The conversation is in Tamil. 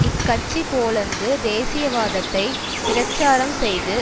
இக்கட்சி போலந்து தேசியவாதத்தை பிரச்சாரம் செய்து